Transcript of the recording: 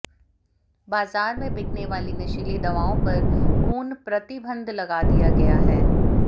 बाजार में बिकने वाली नशीली दवाओं पर पूर्ण प्रतिबंध लगा दिया गया है